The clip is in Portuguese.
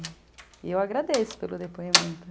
E eu agradeço pelo depoimento.